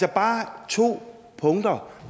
er bare to punkter